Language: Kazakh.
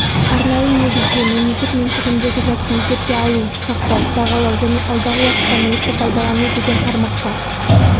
арнайы негізде мемлекет меншігіндегі затты есепке алу сақтау бағалау және алдағы уақытта мүлікті пайдалану деген тармаққа